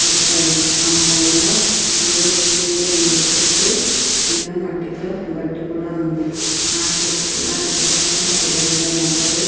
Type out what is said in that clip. వచ్చాయి ఆ పోలాలెంలో నీరు ఉంది చుట్లు చిన్న గటుతో మట్టి కూడా ఉన్నది ఆ చుట్లు పక్కల పెద్ద పెద్ద మొక్కలు.